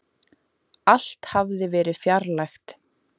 Allt hafði verið fjarlægt.